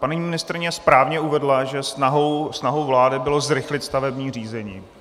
Paní ministryně správně uvedla, že snahou vlády bylo zrychlit stavební řízení.